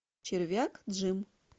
червяк джим